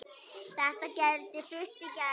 Þetta gerðist fyrst í gær.